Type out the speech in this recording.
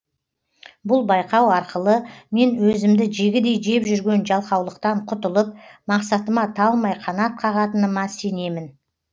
бұл байқау арқылы мен өзімді жегідей жеп жүрген жалқаулықтан құтылып мақсатыма талмай қанат қағатыныма сенемін